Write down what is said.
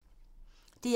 DR1